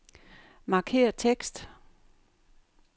Markér tekst.